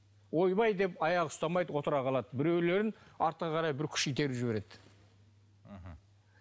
ойбай деп аяғы ұстамайды отыра қалады біреулерін артқа қарай бір күш итеріп жібереді мхм